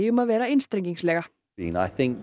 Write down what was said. um að vera einstrengingslega